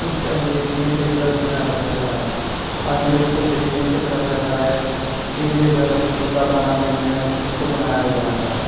इस इमेज में एक घर दिखाया जा रहा है और इमेज को देखने से पता चल रहा है कि जे घर अभी पूरा बना नहीं है इसको बनाया जा रहा है।